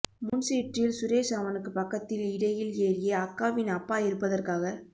முன்சீற்றில் சுரேஸ் அவனுக்கு பக்கத்தில் இடையில் ஏறிய அக்காவின் அப்பா இருப்பதற்காக